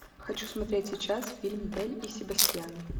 хочу смотреть сейчас фильм белль и себастьян